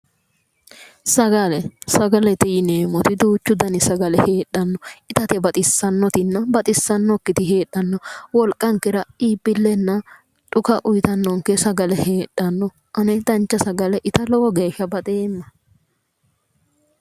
Sagale, sagalete yinneemmori duuchu danni sagale heedhano ittate baxisanotina baxisanokkiti heedhara dandiittano, wolqankera iibbilenna dhukka uyittano sagale heedhano ane dancha sagale itta lowo geeshsha baxeemma".